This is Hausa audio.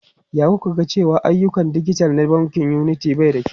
Ya ƙoƙa da cewa ayyukan dijital na bankin Unity bai da kyau.